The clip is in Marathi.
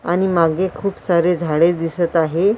आणि मागे खूप सारे झाडे दिसत आहे.